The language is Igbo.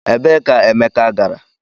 Ebee ka Emeka gara?